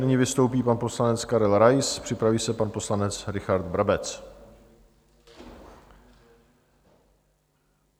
Nyní vystoupí pan poslanec Karel Rais, připraví se pan poslanec Richard Brabec.